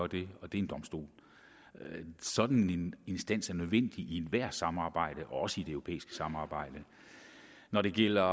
det og det er en domstol sådan en instans er nødvendig i ethvert samarbejde også det europæiske samarbejde når det gælder